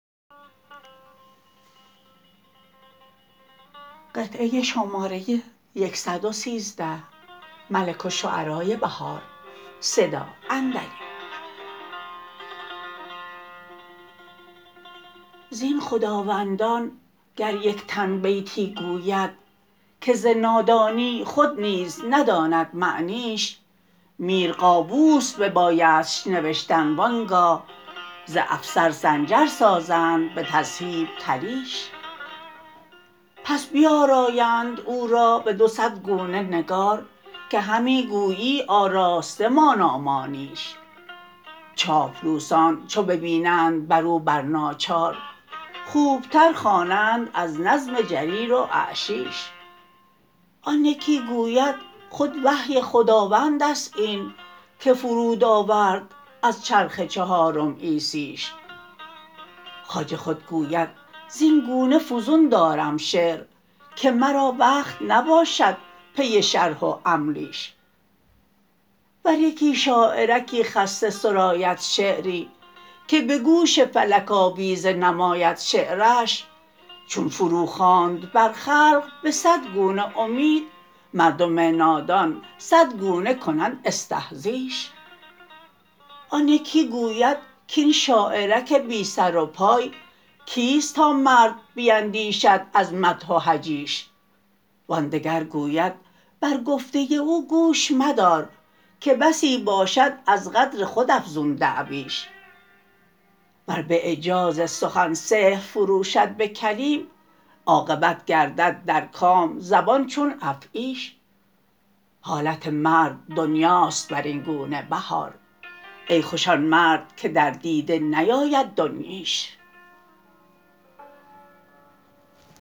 زین خداوندان گر یک تن بیتی گوید که ز نادانی خود نیز نداند معنیش میر قابوس ببایدش نوشتن و آنگاه ز افسر سنجر سازند به تذهیب طلیش پس بیارایند او را به دو صدگونه نگار که همی گویی آراسته مانا مانیش چاپلوسان چو ببینند بر او بر ناچار خوب تر خوانند از نظم جریر و اعشیش آن یکی گوید خود وحی خداوند است این که فرود آورد از چرخ چهارم عیسیش خواجه خودگوید زبن گونه فزون دارم شعر که مرا وقت نباشد پی شرح و املیش ور یکی شاعرکی خسته سراید شعری که به گوش فلک آویزه نماید شعریش چون فرو خواند بر خلق به صدگونه امید مردم نادان صدگونه کنند استهزیش آن یکی گوبدکاین شاعرک بی سروپای کیست تا مرد بیندیشد از مدح و هجیش وآن دگر گوید بر گفته او گوش مدار که بسی باشد از قدر خود افزون دعویش ور به اعجاز سخن سحر فروشد به کلیم عاقبت گردد در کام زبان چون افعیش حالت مرد دنیا است بر این گونه بهار ای خوش آن مردکه در دیده نیاید دنییش